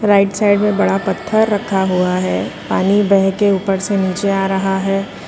Right side में बड़ा पत्थर रखा हुआ है पानी बह के ऊपर से नीचे आ रहा है।